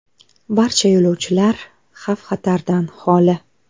Barcha yo‘lovchilar xavf-xatardan xoli.